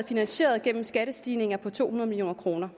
finansieret gennem skattestigninger på to hundrede million kr